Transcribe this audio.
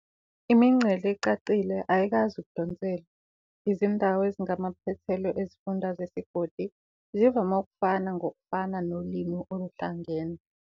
Imingcele ecacile ayikwazi ukudonselwa, izindawo ezingamaphethelo ezifunda zesigodi zivame ukufana ngokufana nolimi oluhlangene.